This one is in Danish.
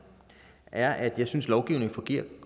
er at jeg synes lovgivningen fungerer